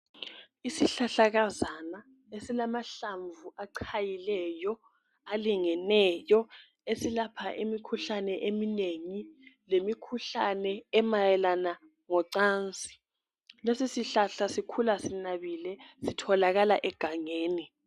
Isihlahlakazana esilamahlamvu achayileyo alingeneyo esilapha imikhuhlane eminengi lemikhuhlane emayelana ngocansi lesi sihlahla sikhula sinabile sitholakala egangeni.